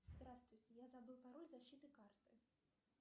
здравствуйте я забыл пароль защиты карты